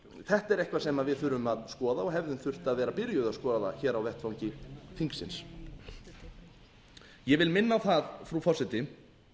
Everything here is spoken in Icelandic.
þetta er eitthvað sem við þurfum að skoða og hefðum þurft að vera byrjuð að skoða hér á vettvangi þingsins ég vil minna á það frú forseti